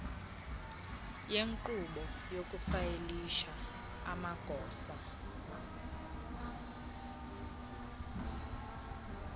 yenkqubo yokufayilisha amagosa